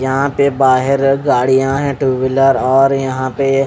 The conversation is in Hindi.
यहाँ पे बाहर गाड़िया है टू व्हीलर और यहाँ पे--